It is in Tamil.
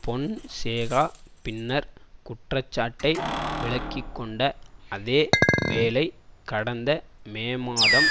பொன்சேகா பின்னர் குற்றச்சாட்டை விலக்கிக்கொண்ட அதே வேளை கடந்த மே மாதம்